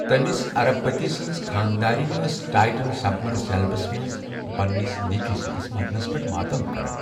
تمس ارب پتی سٕنٛز خانداریٚنۍ ٲس ٹایٹن سبمرسیبلس منٛز پنٛنس نیٚچوۍ سٕندس مرنس پیٹھ ماتم کران۔